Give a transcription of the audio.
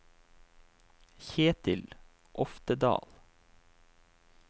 Kjetil Oftedal